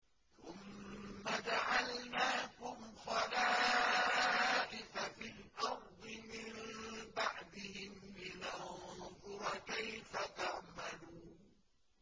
ثُمَّ جَعَلْنَاكُمْ خَلَائِفَ فِي الْأَرْضِ مِن بَعْدِهِمْ لِنَنظُرَ كَيْفَ تَعْمَلُونَ